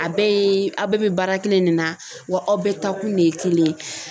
A bɛɛ ye aw bɛɛ bɛ baara kelen ne na wa aw bɛɛ taa kun ne ye kelen ye